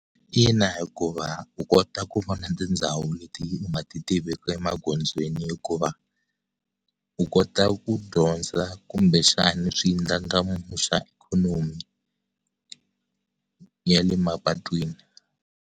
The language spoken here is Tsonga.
Ina hikuva u kota ku vona tindhawu leti u nga ti tiveki emagondzweni hikuva u kota ku dyondza kumbe xana swi ndlandlamuxa ikhonomi ya le mapatwini.